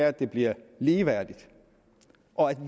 at det bliver ligeværdigt og at